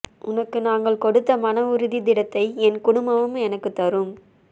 உனக்கு நாங்கள் கொடுத்த மன உறுதியை திடத்தை என் குடும்பமும் எனக்கு தரும்